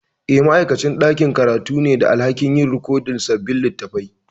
Eh, ma'aikacin ɗakin karatu ne ke da alhakin yin rikodin sabbin littattafan.